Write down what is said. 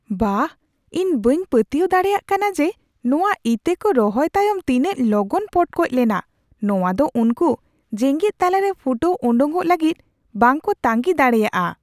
ᱵᱟᱦ, ᱤᱧ ᱵᱟᱹᱧ ᱯᱟᱹᱛᱭᱟᱹᱣ ᱫᱟᱲᱮᱭᱟᱜ ᱠᱟᱱᱟ ᱡᱮ ᱱᱚᱶᱟ ᱤᱛᱟᱹ ᱠᱚ ᱨᱚᱦᱚᱭ ᱛᱟᱭᱚᱢ ᱛᱤᱱᱟᱹᱜ ᱞᱚᱜᱚᱱ ᱯᱚᱴᱠᱚᱡ ᱞᱮᱱᱟ ᱾ ᱱᱚᱶᱟ ᱫᱚ ᱩᱱᱠᱩ ᱡᱮᱜᱮᱫ ᱛᱟᱞᱟᱨᱮ ᱯᱷᱩᱴᱟᱹᱣ ᱳᱰᱳᱠᱚᱜ ᱞᱟᱹᱜᱤᱫ ᱵᱟᱝᱠᱚ ᱛᱟᱺᱜᱤ ᱫᱟᱲᱮᱭᱟᱜᱼᱟ ᱾